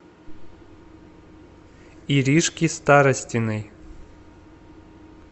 иришки старостиной